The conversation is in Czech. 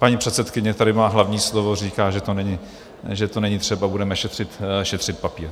Paní předsedkyně tady má hlavní slovo, říká, že to není třeba, budeme šetřit papír.